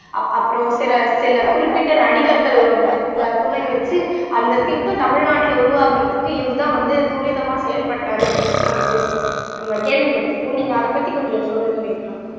அப் அப்புறம் சில சில குறிப்பிட்ட நடிகர்களோடது அஹ் துணை வச்சு அந்த திட்டம் தமிழ்நாட்டுல உருவாகறதுக்கு இவர்தான் வந்து துரிதமா செயல்பட்டாரு அப்படின்னுட்டு எல்லாம் வந்து சோ நம்ம கேள்விப்பட்டிருப்போம் நீங்க அதைப் பத்தி கொஞ்சம் சொல்லுங்க நேத்ரா